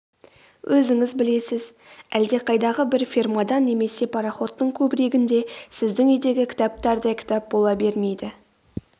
өзіңіз білесіз әлдеқайдағы бір фермада немесе пароходтың кубригінде сіздің үйдегі кітаптардай кітап бола бермейді